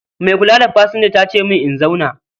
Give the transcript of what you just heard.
Mai kula da pasanja tace mun in zauna